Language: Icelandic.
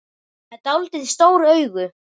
Með dáldið stór augu.